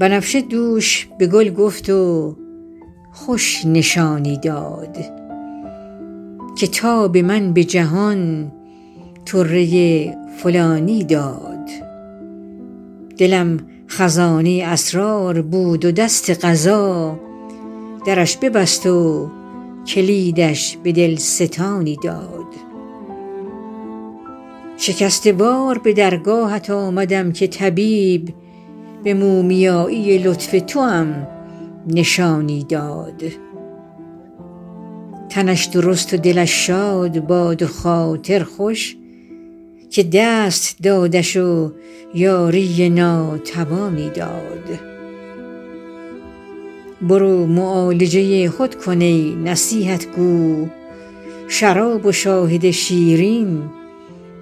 بنفشه دوش به گل گفت و خوش نشانی داد که تاب من به جهان طره فلانی داد دلم خزانه اسرار بود و دست قضا درش ببست و کلیدش به دل ستانی داد شکسته وار به درگاهت آمدم که طبیب به مومیایی لطف توام نشانی داد تنش درست و دلش شاد باد و خاطر خوش که دست دادش و یاری ناتوانی داد برو معالجه خود کن ای نصیحت گو شراب و شاهد شیرین